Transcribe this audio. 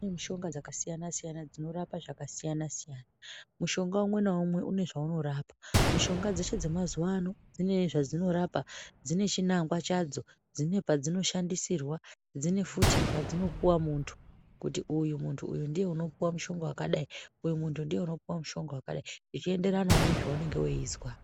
Kune mishonga dzakasiyana-siyana dzinorapa zvitenda zvakasiyana-siyana. Mushonga umwe naumwe unezvaunorapa mushonga dzamazuva ano dzine zvadzinorapa dzine chinangwa chadzo, dzine padzinoshandisirwa, dzine futi padzinopuva muntu kuti muntu uyu ndiye unopuva mushonga vakadai. Uyu muntu ndiye unopuva mushonga vakadai, zvichienderanavo nezvaunenge veizwa.